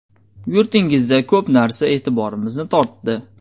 Yurtingizda ko‘p narsa e’tiborimizni tortdi.